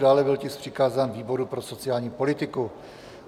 Dále byl tisk přikázán výboru pro sociální politiku.